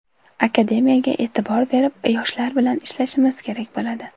Akademiyaga e’tibor berib, yoshlar bilan ishlashimiz kerak bo‘ladi.